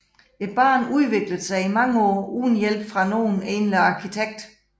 Banen udviklede sig i mange år uden hjælp fra nogen egentlig arkitekt